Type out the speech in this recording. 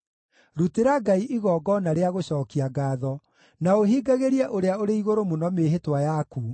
Rutĩra Ngai igongona rĩa gũcookia ngaatho, na ũhingagĩrie Ũrĩa-ũrĩ-Igũrũ-Mũno mĩĩhĩtwa yaku,